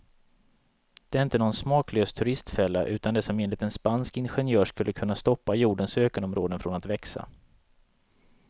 Det är inte någon smaklös turistfälla, utan det som enligt en spansk ingenjör skulle kunna stoppa jordens ökenområden från att växa.